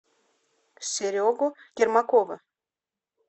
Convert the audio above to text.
серегу ермакова